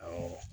Awɔ